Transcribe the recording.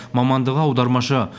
мамандығы аудармашы